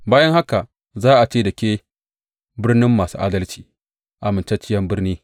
Bayan haka za a ce da ke Birnin Masu Adalci, Amintacciyar Birni.